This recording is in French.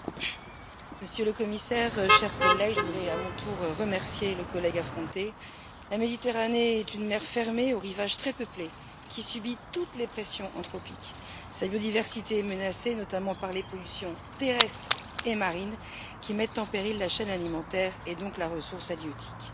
Monsieur le Président, Monsieur le Commissaire, chers collègues, je voudrais à mon tour remercier le collègue Affronte. La Méditerranée est une mer fermée aux rivages très peuplés, qui subit toutes les pressions anthropiques. Sa biodiversité est menacée, notamment par les pollutions terrestres et marines qui mettent en péril la chaîne alimentaire et donc la ressource halieutique.